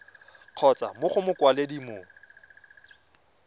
kgotsa mo go mokwaledi mo